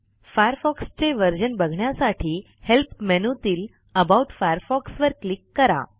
Firefox चे version बघण्यासाठी help मेनूतील अबाउट फायरफॉक्स वर क्लिक करा